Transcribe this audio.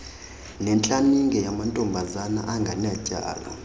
netlaninge yamantombazana angenatyala